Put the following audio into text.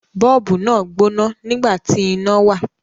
Bọ́ọ̀bù náà gbóná nígbà tí iná wà.